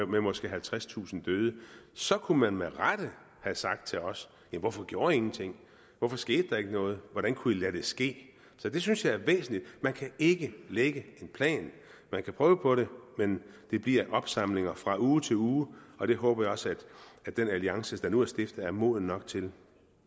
med måske halvtredstusind døde så kunne man med rette have sagt til os hvorfor gjorde i ingenting hvorfor skete der ikke noget hvordan kunne i lade det ske så det synes jeg er væsentligt man kan ikke lægge en plan man kan prøve på det men det bliver opsamlinger fra uge til uge og det håber jeg også at den alliance der nu er stiftet er moden nok til